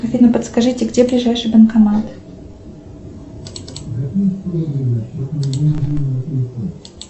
афина подскажите где ближайший банкомат